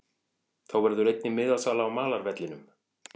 Þá verður einnig miðasala á malarvellinum.